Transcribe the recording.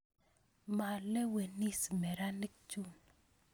Malewenis meranik chun